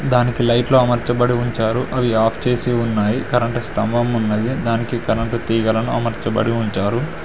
దానికి లైట్లు అమర్చబడి ఉంచారు అవి ఆఫ్ చేసి ఉన్నాయి కరెంటు స్తంభం ఉన్నది దానికి కరెంట్ తీగలను అమర్చబడి ఉంచారు.